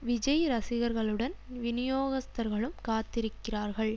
விஜய் ரசிகர்களுடன் விநியோகஸ்தர்களும் காத்திருக்கிறார்கள்